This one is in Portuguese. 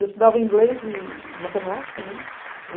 Eu estudava inglês e matemática, ne?!